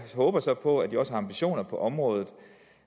håber så på at de også har ambitioner på området